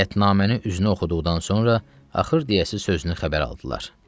Qətnaməni üzünə oxuduqdan sonra axır deyəsi sözünü xəbər aldılar.